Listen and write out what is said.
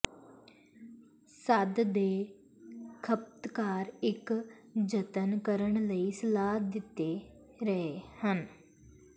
ਸੰਦ ਹੈ ਖਪਤਕਾਰ ਇੱਕ ਜਤਨ ਕਰਨ ਲਈ ਸਲਾਹ ਦਿੱਤੀ ਰਹੇ ਹਨ